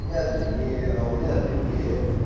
я длиннее а у меня длиннее